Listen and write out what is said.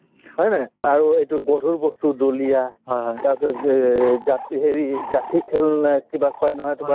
হয় নে আৰু এইটো গধুৰ বস্তু দলিয়া তাৰ পিছত যে জাপি হেৰি যাঠি খেল না কিবা কই নহয় তোমাৰ